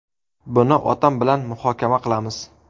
Buni otam bilan muhokama qilamiz.